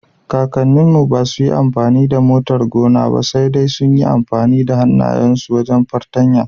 Kakanninmu ba su yi amfani da motar gona ba, sai dai sun yi amfani da hannayensu da fartanya.